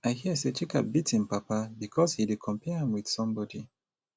i hear say chika beat im papa because e dey compare am with somebody